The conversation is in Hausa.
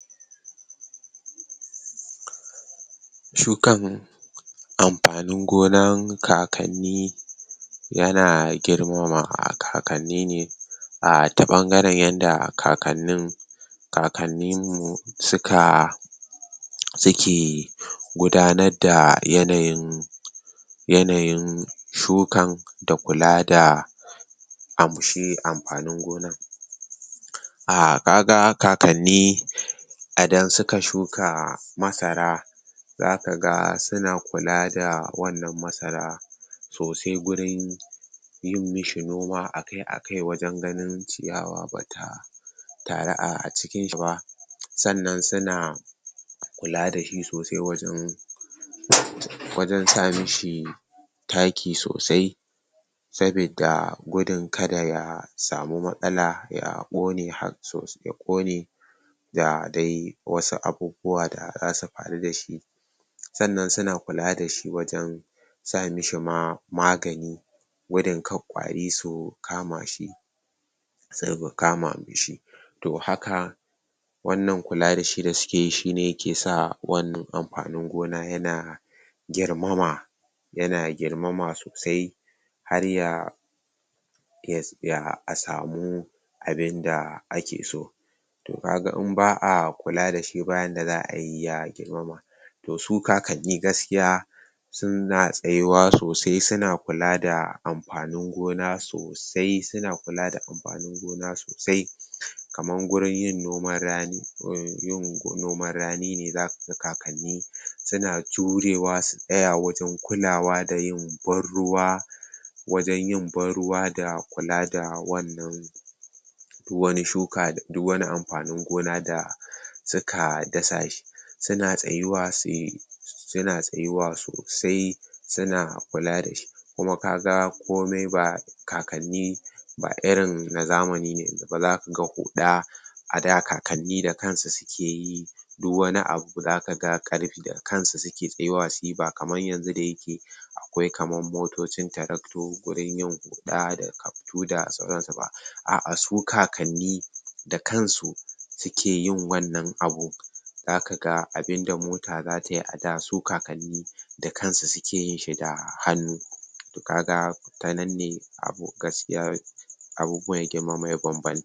shukan anfanin gona kakani yana girmama a kakanni ne ta ɓangaren yanda kakanni kananimu suka suke gudanar da yanayin yanayin shukan dakula da shi anfanin gonan uhm kaga kakani idan suka shuka masara zakaga suna kulada wannan masara sosai gurin Gurin yin mashi noma akai-akai wajen ganin ciyawa bata taru acikinshi ba sannan suna kula dashi sosai wajan um wajan samashi taki sosai sabida gudun kada ya samu matsala yaƙone Yaƙone dadai wasu abubuwa da zasufaru dashi Sannan suna kula dashi wajan samashi ma magani gudun kada kwari su kamashi kama mishi to haka wannan kula dashi da sukeyi shine kisa wannan anfani gona yana girmama yana girmama sosai harya yatsaya asamu abinda aki so Toh kaga in ba'a kula dashi bayanda za'a yi ya girmama to su kakani gaskiya suna tsayuwa sosai suna kula da amfani gona sosai i suna kula da amfani gona sosai kaman gurin yin noman rani gunyin noman rani ne zakaga kakani suna jurewa su tsaya wajan kulawa dayin ban-ruwa Wajan yin ban-ruwa da kulada wannan wani shuka da duk wani anfani gona da suka dasashi suna tsayuwa suna tsayuwa sosai suna kula dashi Kuma kaga komai ba kakanni ba irin na zamani ne ba. Zakaga huɗa ada kakanni da kansu suke yi duk wani abu zaka? Kansu suke tsayuwa suyi bakaman yanzu dayake akwai kamar motocin tractor gurin yin huɗa da kaftu da sauransu ba A'a su kakanni dakansu suke wannan abu Zakaga abun da mota zataye ada su kakanni dakansu suke yinshi da hannu To kaga tanan ne abu gaskiya abubuwan ya girmama ya bambanta